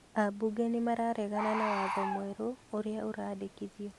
Ambunge nĩ mararegana na watho mwerũ ũrĩa ũrandĩkithio